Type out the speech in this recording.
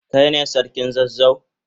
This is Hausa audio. Kai ne sarkin zazzau?